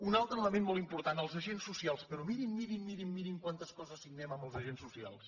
un altre element molt important els agents socials però mirin mirin quantes coses signem amb els agents socials